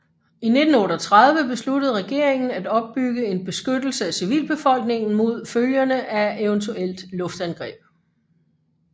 I 1938 besluttede regeringen at opbygge en beskyttelse af civilbefolkningen mod følgerne af eventuelt luftangreb